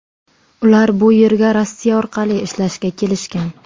Ular bu yerga Rossiya orqali ishlashga kelishgan.